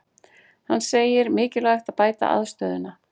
Hann segir mikilvægt að bæta aðstöðuna